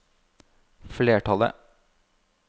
flertallet